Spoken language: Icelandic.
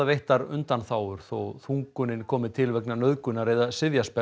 veittar undanþágur þó þungunin komi til vegna nauðgunar eða